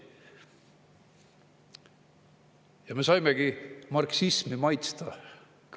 Ja me saimegi marksismi maitsta.